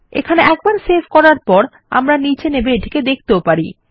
এখানে একবার সেভ করার পর আমরা নিচে নেমে এখানে এটিকে দেখতে পারি